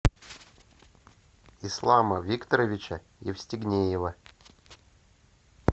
ислама викторовича евстигнеева